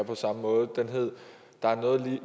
på samme måde den hed der er noget